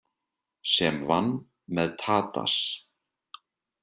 Sem vann með Tadas.